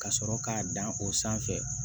Ka sɔrɔ k'a dan o sanfɛ